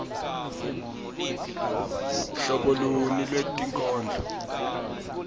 hlobo luni lwebunkondlo